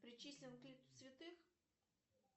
причислен к лику святых